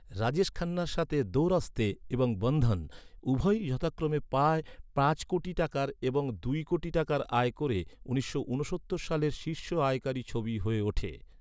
রাজেশ খান্নার সাথে ‘দো রাস্তে’ এবং ‘বন্ধন’, উভয়ই যথাক্রমে প্রায় পাঁচ কোটি টাকার এবং দুই কোটি টাকার আয় করে উনিশশো ঊনসত্তর সালের শীর্ষ আয়কারী ছবি হয়ে ওঠে।